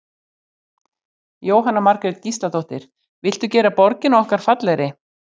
Jóhanna Margrét Gísladóttir: Viltu gera borgina okkar fallegri?